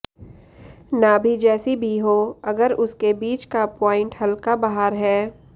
नाभि जैसी भी हो अगर उसके बीच का प्वाइंट हलका बाहर है